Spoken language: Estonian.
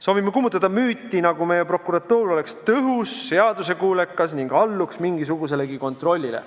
Soovime kummutada müüti, nagu meie prokuratuur oleks tõhus, seaduskuulekas ning alluks mingisuguselegi kontrollile.